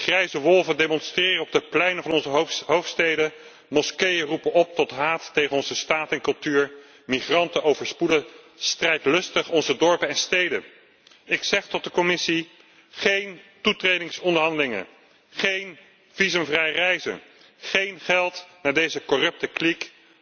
Grijze wolven demonstreren op de pleinen van onze hoofdsteden, moskeeën roepen op tot haat tegen onze staat en cultuur, migranten overspoelen strijdlustig onze dorpen en steden. Ik zeg tot de Commissie geen toetredingsonderhandelingen, geen visumvrij reizen, geen geld naar deze corrupte kliek!